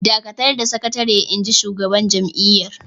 "Dakatar da sakatare!" Inji shugaban jam’iyyar